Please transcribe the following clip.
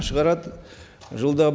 шығарады жылда